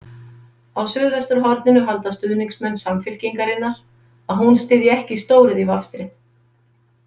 Á Suðvesturhorninu halda stuðningsmenn Samfylkingarinnar að hún styðji ekki stóriðjuvafstrið.